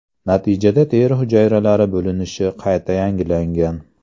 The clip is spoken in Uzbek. Natijada teri hujayralari bo‘linishi qayta yangilangan.